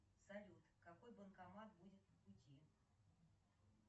салют какой банкомат будет по пути